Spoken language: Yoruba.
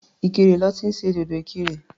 Ìkirè lọ́ ti ń ṣe dòdò Ìkirè.